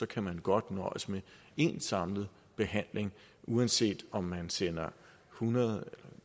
kan man godt nøjes med en samlet behandling uanset om man sender hundrede